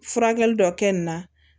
Furakɛli dɔ kɛ nin na